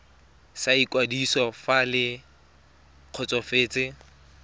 sa ikwadiso fa le kgotsofetse